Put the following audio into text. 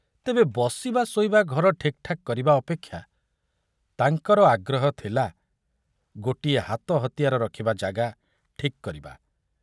ତେବେ ବସିବା ଶୋଇବା ଘର ଠିକଠାକ କରିବା ଅପେକ୍ଷା ତାଙ୍କର ଆଗ୍ରହ ଥିଲା ଗୋଟିଏ ହାତ ହତିଆର ରଖିବା ଜାଗା ଠିକ କରିବା।